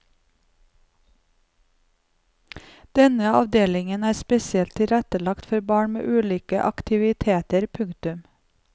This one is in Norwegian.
Denne avdelingen er spesielt tilrettelagt for barna med ulike aktiviteter. punktum